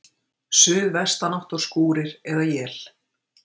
Suðvestanátt og skúrir eða él